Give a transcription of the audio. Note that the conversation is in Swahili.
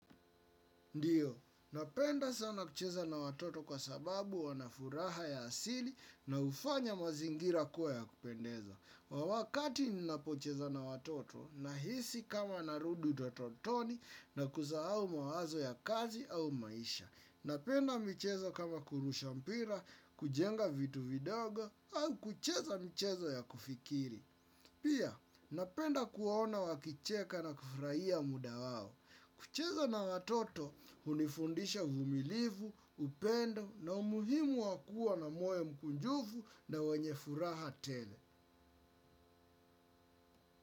Ndio, napenda sana kucheza na watoto kwa sababu wanafuraha ya asili na hufanya mazingira kuwa ya kupendeza. Wa wakati ninapocheza na watoto, nahisi kama narud utototoni na kusahau mawazo ya kazi au maisha. Napenda michezo kama kurusha mpira, kujenga vitu vidogo, au kucheza michezo ya kufikiri. Pia, napenda kuona wakicheka na kufurahia muda wao. Kucheza na watoto hunifundisha uvumilivu, upendo na umuhimu wakuwa na moyo mkunjufu na wenye furaha tele.